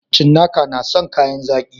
Cinnakai na san kayan zaƙi